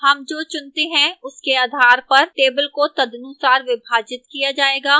हम जो चुनते हैं उसके आधार पर table को तदनुसार विभाजित किया जाएगा